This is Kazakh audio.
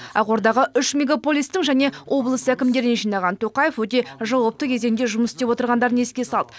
ақордаға үш мегаполистің және облыс әкімдерін жинаған тоқаев өте жауапты кезеңде жұмыс істеп отырғандарын еске салды